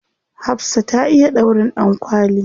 Hafsah ta iya ɗaurin ɗankwali.